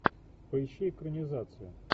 поищи экранизация